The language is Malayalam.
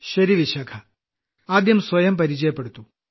ശരി വിശാഖ ആദ്യം സ്വയം പരിചയപ്പെടുത്തു